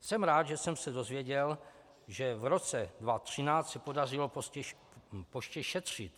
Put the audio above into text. Jsem rád, že jsem se dozvěděl, že v roce 2013 se podařilo poště šetřit.